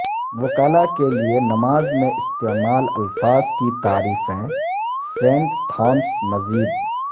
وکلاء کے لئے نماز میں استعمال الفاظ کی تعریفیں سینٹ تھامس مزید